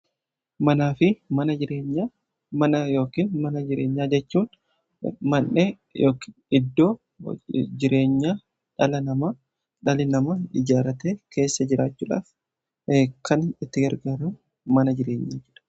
Manaa fi mana jireenyaa: mana yookiin mana jireenyaa jechuun mandhee iddoo jireenyaa dhalli namaa ijaarratee keessa jiraachuudhaaf kan itti gargaramu mana jireenyaa jedhama.